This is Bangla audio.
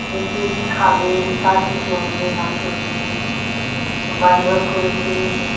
যে কে কি খাবে, কার কি চলবে না চলবে বাড়ি ঘর করেছে